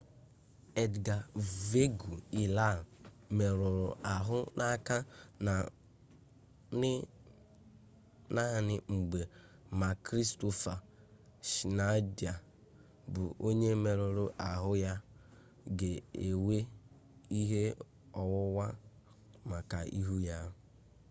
edgar veguilla merụrụ ahụ n'aka na n'agba ma kristoffer schneider bụ onye mmerụ ahụ ya ga-ewe ihe ọwụwa maka ihu ya